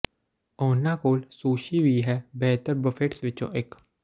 ਉਹਨਾਂ ਕੋਲ ਸੁਸ਼ੀ ਵੀ ਹੈ ਬਿਹਤਰ ਬਫੇਟਸ ਵਿੱਚੋਂ ਇੱਕ